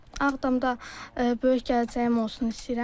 Ağdamda böyük gələcəyim olsun istəyirəm.